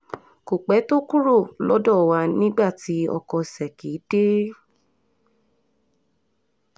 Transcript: kò pẹ́ tó kúrò lọ́dọ̀ wa nígbà tí ọkọ ṣèkì dé